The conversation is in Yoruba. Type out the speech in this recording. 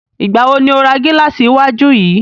Ìgbà wo ni o ra gílàsì iwájú yìí?